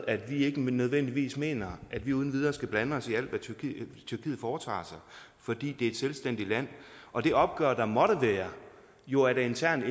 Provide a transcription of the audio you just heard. at vi ikke nødvendigvis mener at vi uden videre skal blande os i alt hvad tyrkiet foretager sig fordi det er et selvstændigt land og det opgør der måtte være jo er et internt